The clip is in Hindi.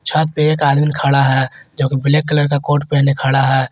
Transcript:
यहां पे एक आदमी खड़ा है जो कि ब्लैक कलर का कोट पहने खड़ा है।